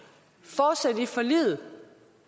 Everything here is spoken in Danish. at i forliget